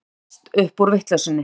Þetta hefst upp úr vitleysunni.